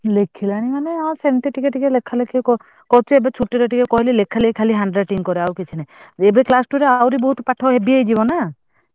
ଲେଖିଲାଣି ମାନେ ଆଉ ସେମତ ଟିକେ ଲେଖା ଲେଖି କରୁଛି ଏବେ ଛୁଟିରେ କହିଲି ଲେଖି ଖାଲି handwriting କରୁକିଛି ନାହିଁ ଏବେ class two ରେ ଟିକେ heavy ହେଇଯିବ ନାଁ